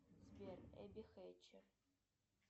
сбер эбби хэтчер